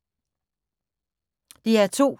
DR2